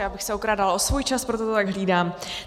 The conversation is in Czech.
Já bych se okrádala o svůj čas, proto to tak hlídám.